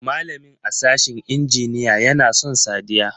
Malamin a sashin injiniya ya na son Sadiya.